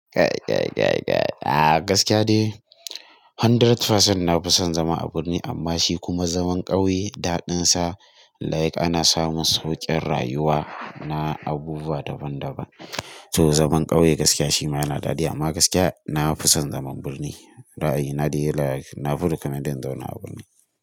Kai, kai, kai, kai. A'a gaskiya dai hundred percent na fi son zama a birni amma shi kuma zaman ƙauye daɗinsa. Like ana samun sauƙin rayuwa na abubuwa daban-daban. To zaman ƙauye gaskiya shi ma yana daɗi amma gaskiya na fi son zaman birni. Ra'ayi na dai like na recommending in zauna a birni.